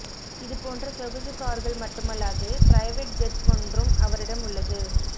இதுபோன்ற சொகுசு கார்கள் மட்டுமல்லாது பிரைவேட் ஜெட் ஒன்றும் அவரிடம் உள்ளது